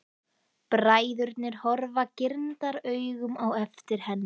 Bræðurnir horfa girndaraugum á eftir henni.